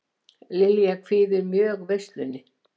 Lilja kvíðir mjög veislunni